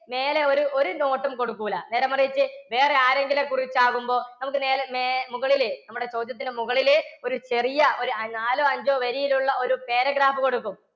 മേലെ ഒരു ഒരു note ഉം കൊടുക്കില്ല. നേരെ മറിച്ച് വേറെ ആരെയെങ്കിലും കുറിച്ച് ആകുമ്പോൾ നമുക്ക് നേരെ മുകളിൽ നമ്മുടെ ചോദ്യത്തിന് മുകളിൽ ഒരു ചെറിയ ഒരു നാലോ അഞ്ചോ വരിയിൽ ഉള്ള ഒരു paragraph കൊടുക്കും.